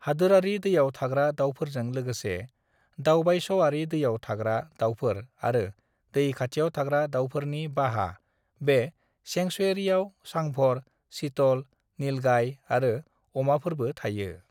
"हादोरारि दैआव थाग्रा दाउफोरजों लोगोसे दावबायस'आरि दैआव थाग्रा दाउफोर आरो दै खाथियाव थाग्रा दाउफोरनि बाहा, बे सेंक्सुवेरियाव सांभर, चीतल, नीलगाय आरो अमाफोरबो थायो।"